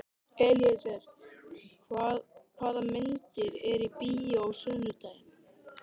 Elíeser, hvaða myndir eru í bíó á sunnudaginn?